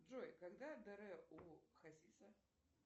джой когда др у хасиса